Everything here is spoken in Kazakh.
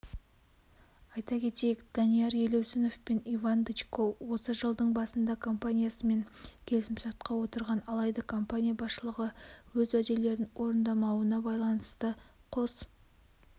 айта кетейік данияр елеусінов пен иван дычко осы жылдың басында компаниясымен келісімшартқа отырған алайда компания басшылығы өз уәделерін орындамауына байланысты қос